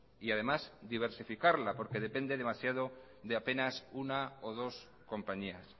y además diversificarla porque depende demasiado de apenas una o dos compañías